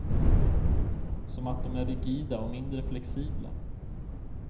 Som att de är rigida och mindre flexibla.